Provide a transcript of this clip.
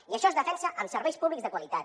i això es defensa amb serveis públics de qualitat